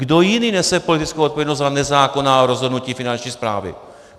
Kdo jiný nese politickou odpovědnost za nezákonná rozhodnutí Finanční správy?